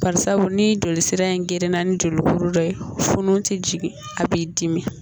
Barisabu, ni joli sira in grinna, ni jolikuru dɔ ye, funu tɛ jigin, a b'i dimi